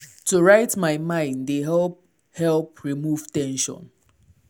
to write my mind dey help help remove ten sion.